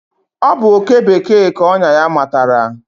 Ọ bụ oké bekee ka ọnyà ya matara.